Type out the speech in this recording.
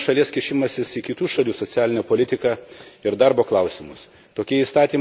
Tai yra ne tik vienos šalies kišimasis į kitų šalių socialinę politiką ir darbo klausimus.